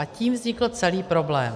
A tím vznikl celý problém.